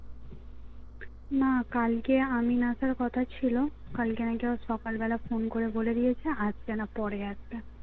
না কালকে আমিন আসার কথা ছিল কালকে নাকি সকালবেলা phone করে বলে দিয়েছে আসবে না পরে আসবে